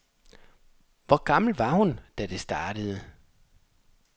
Hvor gammel var hun, da det startede.